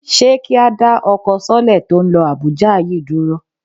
Ṣé kí á dá ọkọ sọ́lẹ̀ tó ń lọ Àbújá yìí dúró